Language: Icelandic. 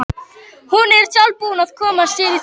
Hún er sjálf búin að koma sér í þetta.